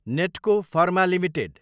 Natco pharma Ltd